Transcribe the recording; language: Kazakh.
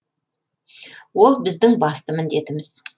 ол біздің басты міндетіміз